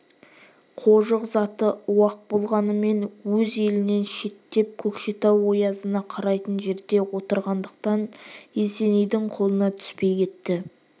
қожық заты уақ болғанымен өз елінен шеттеп көкшетау оязына қарайтын жерде отырғандықтан есенейдің қолына түспей кетті